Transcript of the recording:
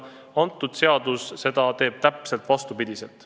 See eelnõu mõjub, kui see seaduseks saab, täpselt vastupidiselt.